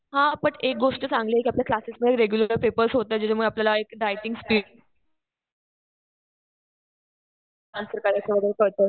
हा बट एक गोष्ट चांगली आहे कि आपल्या क्लासेस मध्ये रेगुलर पेपर्स होतात. त्याच्यामुळे आपल्याला एक रायटिंग स्पीड, अन्सर करायचं वगैरे कळतं.